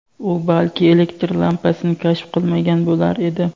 u balki elektr lampasini kashf qilmagan bo‘lar edi.